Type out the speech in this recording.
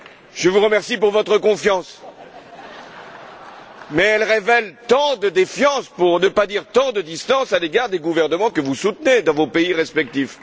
Je vous remercie pour votre confiance, mais elle révèle tant de défiance, pour ne pas dire tant de distance à l'égard des gouvernements que vous soutenez dans vos pays respectifs.